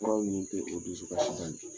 Furaw nin tɛ o dusu kasi bali.